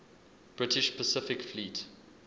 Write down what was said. british pacific fleet